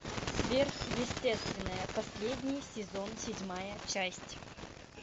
сверхъестественное последний сезон седьмая часть